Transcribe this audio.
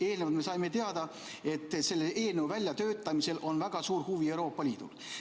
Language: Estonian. Eelnevalt me saime teada, et selle eelnõu väljatöötamisel on väga suur huvi Euroopa Liidul.